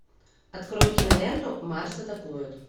открой киноленту марс атакует